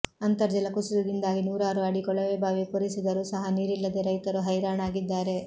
ಅಂತರ್ಜಲ ಕುಸಿತದಿಂದಾಗಿ ನೂರಾರು ಅಡಿ ಕೊಳವೆಬಾವಿ ಕೊರೆಸಿದರೂ ಸಹ ನೀರಿಲ್ಲದೆ ರೈತರು ಹೈರಾಣಾಗಿದ್ದಾರೆ